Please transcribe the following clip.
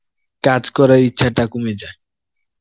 কাজ করার ইচ্ছাটা কমে যায়